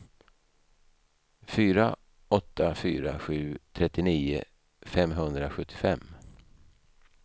fyra åtta fyra sju trettionio femhundrasjuttiofem